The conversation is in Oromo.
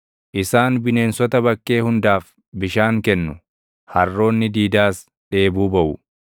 Isaan bineensota bakkee hundaaf bishaan kennu; harroonni diidaas dheebuu baʼu.